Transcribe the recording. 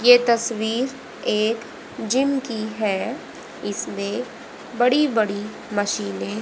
ये तस्वीर एक जिम की है इसमें बड़ी बड़ी मशीने --